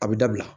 A bɛ dabila